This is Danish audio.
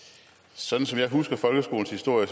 så